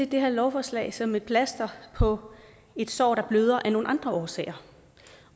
det her lovforslag som et plaster på et sår der bløder af nogle andre årsager